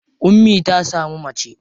Ummi ta samu mace.